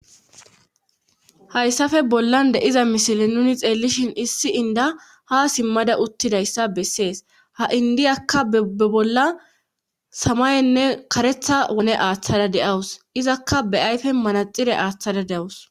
hayssafe bollan de7iza misile nuni xeellishin issi inda ha simmada uttidayssa bessees ha indiyakka be bolla samayenne karetha wone aaththada de7awus izakka be ayfe manaxire aaththada de7awus